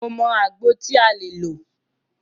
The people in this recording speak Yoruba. Mo mọ àgbo tí a lè lò.